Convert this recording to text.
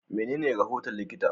Menene rahoton likita?